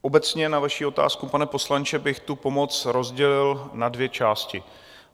Obecně na vaši otázku, pane poslanče, bych tu pomoc rozdělil na dvě části.